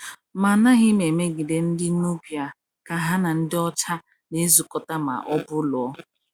Ma anaghị m emegide ndị Nubia ka ha na ndị ọcha na-ezukọta ma ọ bụ lụọ.